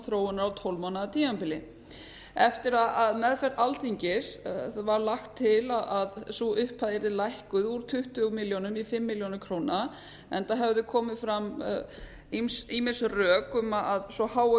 þróunar á tólf mánaða tímabili eftir að meðferð alþingis var lagt til að sú upphæðyrði lækkuð úr tuttugu milljónum í fimm milljónir króna enda höfðu komið fram ýmis rök um að svo há